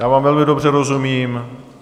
Já vám velmi dobře rozumím.